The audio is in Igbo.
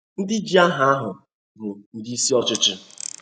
Ndi ji Aha ahụ bụ ndị isi ọchịchị